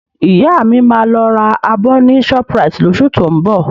Ìyá mi máa lọ ra abọ ní Shoprite lóṣù tó ń bọ̀